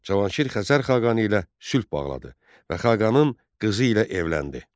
Cavanşir Xəzər xaqanı ilə sülh bağladı və xaqanın qızı ilə evləndi.